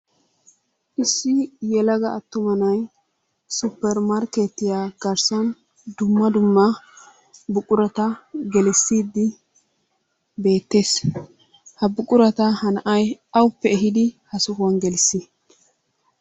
Issi yelaga attuma naay suppermarkkeetiya garssan dumma dumma buqurata gelissiiddi beettees. Ha buqurata ha na'ay awuppe ehiidi ha sohuwan gelissii?